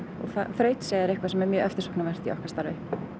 og þrautseigja er eftirsóknarverð í okkar starfi